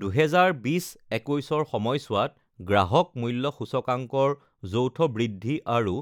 ২০২০-২১ৰ সময়ছোৱাত গ্ৰাহক মূল্য সূচকাংক ৰ যৌথ বৃদ্ধি আৰু